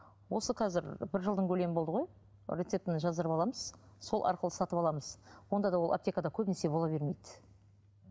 осы қазір бір жылдың көлемі болды ғой рецептін жаздырып аламыз сол арқылы сатып аламыз онда да ол аптекада көбінесе бола бермейді